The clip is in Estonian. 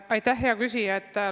Aitäh, hea küsija!